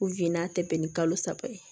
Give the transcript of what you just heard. a tɛmɛnen kalo saba ye